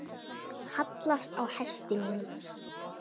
hallast á hesti mínum